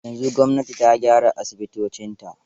Yanzu gwamnati ta gyara asibitocinta.